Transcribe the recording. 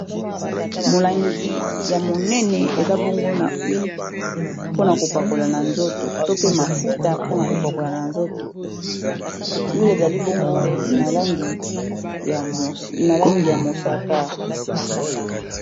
Molangi ya monene eza bongo na huile mpona kopakola na nzoto to pe mafuta mpona kopakola na nzoto huile ezali bongo na langi ya mosaka.